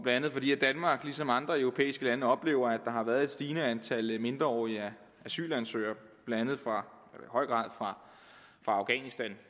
andet fordi danmark ligesom andre europæiske lande oplever at der har været et stigende antal mindreårige asylansøgere fra afghanistan